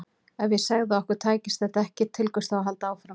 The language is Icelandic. Ef ég segði að okkur tækist þetta ekki, til hvers þá að halda áfram?